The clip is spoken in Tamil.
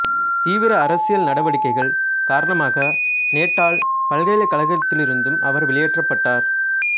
தீவிர அரசியல் நடவடிக்கைகள் காரணமாக நேட்டால் பல்கலைக்கழகத்திலிருந்தும் அவர் வெளியேற்றப்பட்டார்